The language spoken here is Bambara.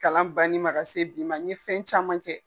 Kalan ban ni ma ka se bi ma , n ye fɛn caman kɛ.